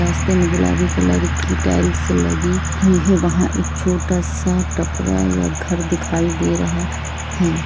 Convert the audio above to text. रास्ते में गुलाभी कलर की टाइल्स लगी हुई है वह एक छोटा सा टपरा या घर दिखाई दे रहा है।